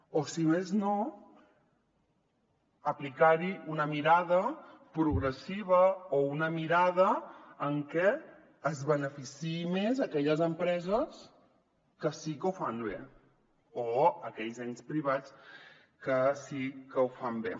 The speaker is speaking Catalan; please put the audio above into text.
o si més no aplicar hi una mirada progressiva o una mirada en què es beneficiïn més aquelles empreses que sí que ho fan bé o aquells ens privats que sí que ho fan bé